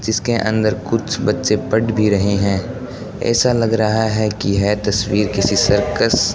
जिसके अंदर कुछ बच्चे पढ़ भी रहे हैं ऐसा लग रहा है कि यह तस्वीर किसी सर्कस --